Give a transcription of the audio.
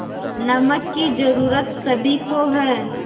नमक की ज़रूरत सभी को है